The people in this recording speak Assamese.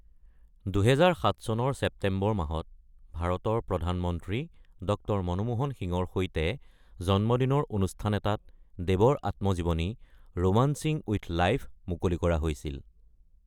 ২০০৭ চনৰ ছেপ্টেম্বৰ মাহত ভাৰতৰ প্ৰধানমন্ত্ৰী ড০ মনমোহন সিঙৰ সৈতে জন্মদিনৰ অনুষ্ঠান এটাত দেৱৰ আত্মজীৱনী ‘ৰোমান্সিং উইথ লাইফ’ মুকলি কৰা হৈছিল।